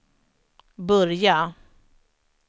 börja